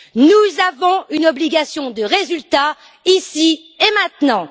Nous avons une obligation de résultat, ici et maintenant.